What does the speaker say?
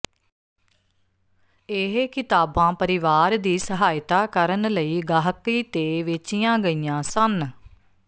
ਇਹ ਕਿਤਾਬਾਂ ਪਰਿਵਾਰ ਦੀ ਸਹਾਇਤਾ ਕਰਨ ਲਈ ਗਾਹਕੀ ਤੇ ਵੇਚੀਆਂ ਗਈਆਂ ਸਨ